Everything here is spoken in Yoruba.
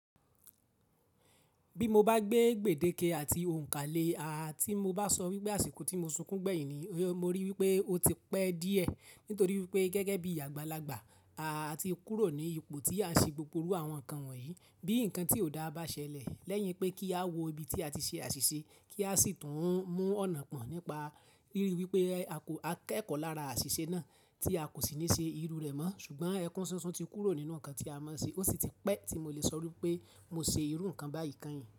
Bí mo bá gbé gbèdéke àti ounka le aa tí mo bá sọ wípé àsìkò tí mo sunkún gbẹ̀yìn ni mori wípé ó ti pẹ́ díẹ̀, nítorí wípé gẹ́gẹ́ bí àgbàlagbà a ti kúrò ní ipò tí a ń ṣe gbogbo àwọn nǹkan wọ̀nyí. Bí nǹkan tí ò dáa bá ṣẹlẹ̀, lẹ́yìn pé kí á wọ ibi tí a ti ṣe àṣìṣe kí a sì tún mú ọ̀nà pọ̀ nípa rírí wípé a kẹ́kọ̀ọ́ lára àṣìṣe náà tí a kò sì ní ṣe irú rẹ̀ mọ́. Ṣùgbọ́n ẹkún ṣunṣun ti kúrò nínú nǹkan tí a mọ̀ sí, ó sì ti pẹ́ tí mo lè sọ wípé mo ṣe irú nǹkan báyìí kányìn.